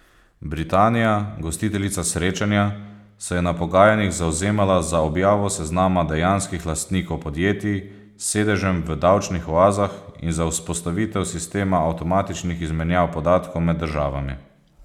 Britanija, gostiteljica srečanja, se je na pogajanjih zavzemala za objavo seznama dejanskih lastnikov podjetij s sedežem v davčnih oazah in za vzpostavitev sistema avtomatičnih izmenjav podatkov med državami.